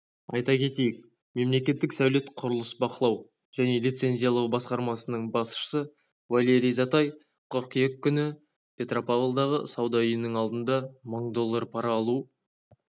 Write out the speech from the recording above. айта кетейік мемлекеттік сәулет-құрылыс бақылау және лицензиялау басқармасының басшысы валерий затай қыркүйек күні петропавлдағы сауда үйінің алдында мың доллар пара алу